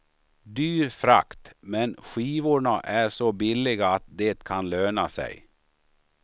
Dyr frakt, men skivorna är så billiga att det kan löna sig.